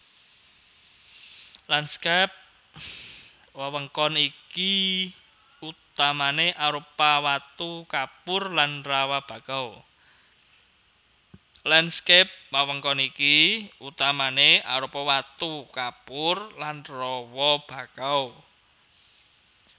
Lanskap wewengkon iki utamané arupa watu kapur lan rawa bakau